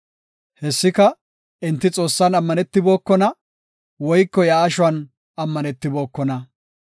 Hessika enti Xoossan ammanibookona; woyko iya ashuwan ammanetibokona.